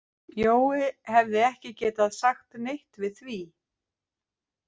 Jói hefði ekki getað sagt neitt við því.